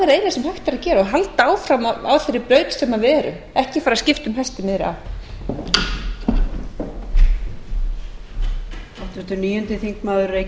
sem hægt er að gera og halda áfram á þeirri braut sem við erum ekki bara skipta um hest í miðri á